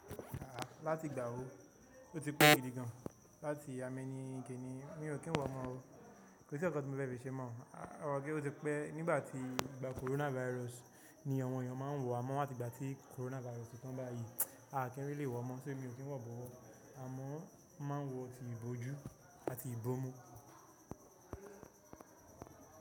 Àáà, láti gbà ó, ó ti kú gidi gan. Láti àmẹ́ni kiní. Mi ò kí n wọ mọ ó. Kò sí nkankan tí mo fẹ́ fi ṣe mọ́. Ó ti pẹ́ nígbà tí ìgbà coronavirus ni àwọn èèyàn máa ń wọ́ amọ láti ìgbà tí coronavirus ti tán báyìí. A kì í really wọ mọ, ṣé mi ò kí n wọ̀ bọ̀wọ̀? Àmọ́ máa ń wọ tí ìbòjú àti ìbómú.